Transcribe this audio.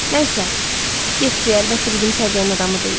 Nəysə, getdi, əlbəttə, bizim səviyyənin adamı deyil.